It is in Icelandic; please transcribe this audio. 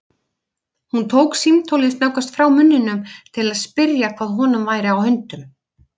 Hún tók símtólið snöggvast frá munninum til að spyrja hvað honum væri á höndum.